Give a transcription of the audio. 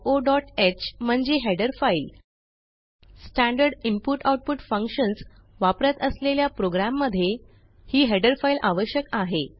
stdioह म्हणजे header file standard inputआउटपुट functions वापरत असलेल्या प्रोग्रॅममध्ये ही हेडर फाइल आवश्यक आहे